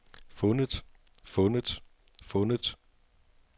fundet fundet fundet